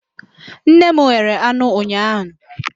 Nne m ghere anụ ụnyaahụ.